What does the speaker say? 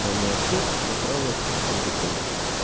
кроме аптек заправок и продуктовых